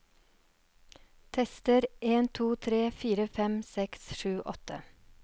Tester en to tre fire fem seks sju åtte